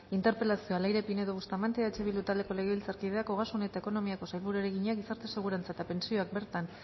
interpelazioa leire pinedo bustamante eh bildu taldeko legebiltzarkideak ogasun eta ekonomiako sailburuari egina gizarte segurantza eta pentsioak bertan